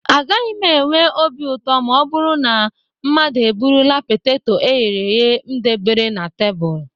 A gaghị m enwe obi ụtọ ma ọ bụrụ na mmadụ eburula poteto e ghere eghe m debere na tebụl